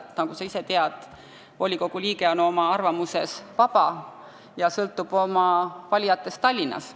Nagu sa tead, volikogu liige on oma arvamuses vaba, õigemini sõltub oma valijatest Tallinnas.